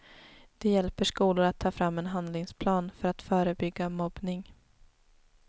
De hjälper skolor att ta fram en handlingsplan för att förebygga mobbning.